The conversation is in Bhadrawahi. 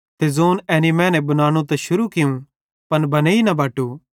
ते ज़ोंन एनी मैने बनानू त शुरू कियूं पन बनेइ न बटो